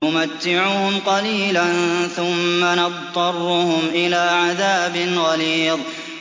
نُمَتِّعُهُمْ قَلِيلًا ثُمَّ نَضْطَرُّهُمْ إِلَىٰ عَذَابٍ غَلِيظٍ